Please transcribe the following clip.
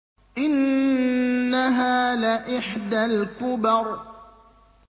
إِنَّهَا لَإِحْدَى الْكُبَرِ